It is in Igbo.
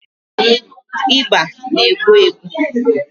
ịba na-egbu egbu.